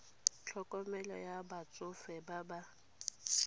tlhokomelo ya batsofe ba ba